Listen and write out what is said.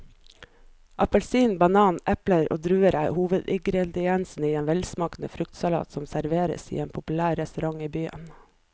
Appelsin, banan, eple og druer er hovedingredienser i en velsmakende fruktsalat som serveres på en populær restaurant i byen.